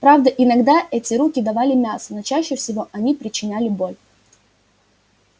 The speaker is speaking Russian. правда иногда эти руки давали мясо но чаще всего они причиняли боль